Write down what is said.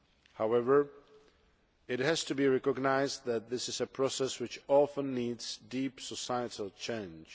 However, it has to be recognised that this is a process which often needs deep societal change.